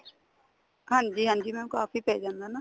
ਹਾਂਜੀ ਹਾਂਜੀ mam ਕਾਫੀ ਪੈ ਜਾਂਦਾ ਨਾ